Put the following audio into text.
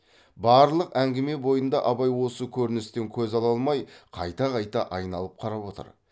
барлық әңгіме бойында абай осы көріністен көз ала алмай қайта қайта айналып қарап отыр